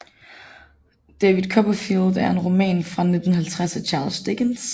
David Copperfield er en roman fra 1850 af Charles Dickens